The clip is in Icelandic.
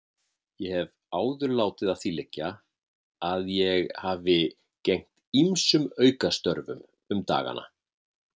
Ég hef áður látið að því liggja að ég hafi gegnt ýmsum aukastörfum um dagana.